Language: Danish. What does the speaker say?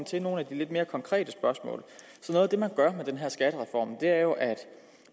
til nogle af de lidt mere konkrete spørgsmål noget af det man gør med den her skattereform er jo at